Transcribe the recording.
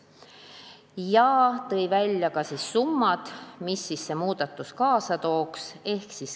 Ta tõi ära summad, mida see muudatus kaasa tooks.